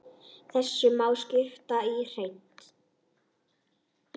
Þessu má skipta í þrennt.